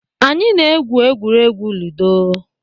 Anyị na-egwu egwuregwu ludo